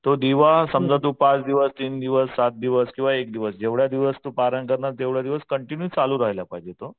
तो दिवा समजा तू पाच दिवस तीन दिवस सात दिवस किंवा एक दिवस जेवढ्या दिवस तू पारायण करणार तेवढ्या दिवस कंटिन्यू चालू राहिला पाहिजे तो.